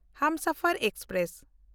Humsafar express